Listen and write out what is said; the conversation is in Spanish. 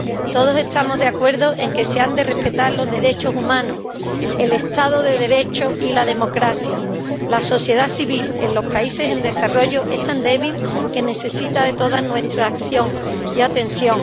Todos estamos de acuerdo en que se han de respetar los derechos humanos, el Estado de Derecho y la democracia. La sociedad civil en los países en desarrollo es tan débil que necesita de toda nuestra acción y atención.